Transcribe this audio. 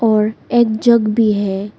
और एक जग भी है।